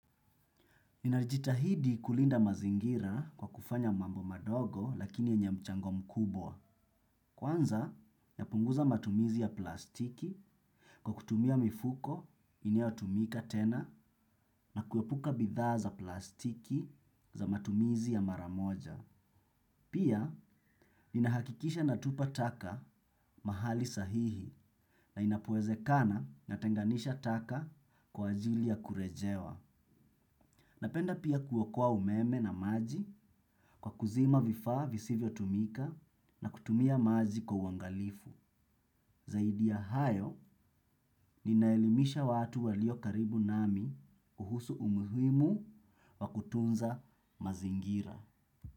Ninajitahidi kulinda mazingira kwa kufanya mambo madogo lakini yenye mchango mkubwa. Kwanza, napunguza matumizi ya plastiki kwa kutumia mifuko inayotumika tena na kuepuka bidhaa za plastiki za matumizi ya mara moja. Pia, ninahakikisha natupa taka mahali sahihi na inapowezekana natenganisha taka kwa ajili ya kurejewa. Napenda pia kuokoa umeme na maji kwa kuzima vifaa visivyotumika na kutumia maji kwa uangalifu. Zaidi ya hayo, ninaelimisha watu walio karibu nami kuhusu umuhimu wa kutunza mazingira.